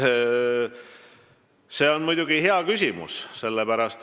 See on hea küsimus.